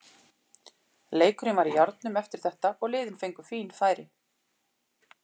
Leikurinn var í járnum eftir þetta og liðin fengu fín færi.